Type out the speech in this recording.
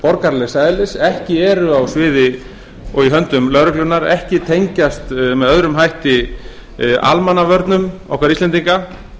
borgaralegs eðlis ekki eru á sviði og í höndum lögreglunnar ekki tengjast með öðrum hætti almannavörnum okkar íslendinga